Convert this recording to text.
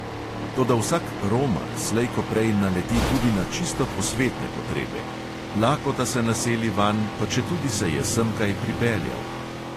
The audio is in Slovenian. Toda vsak "romar" slej ko prej naleti tudi na čisto posvetne potrebe – lakota se naseli vanj, pa četudi se je semkaj pripeljal.